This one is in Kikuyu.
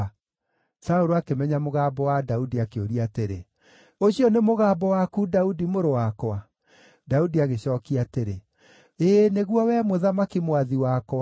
Saũlũ akĩmenya mũgambo wa Daudi, akĩũria atĩrĩ, “Ũcio nĩ mũgambo waku, Daudi, mũrũ wakwa?” Daudi agĩcookia atĩrĩ, “Ĩĩ nĩguo, wee mũthamaki, mwathi wakwa.”